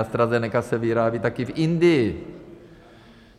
AstraZeneca se vyrábí taky v Indii.